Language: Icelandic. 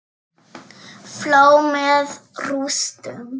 Flá með rústum.